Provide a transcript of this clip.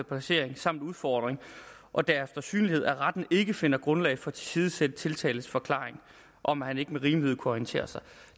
placering samt udformning og deres synlighed at retten ikke finder grundlag for at tilsidesætte tiltaltes forklaring om at han ikke med rimelighed kunne orientere sig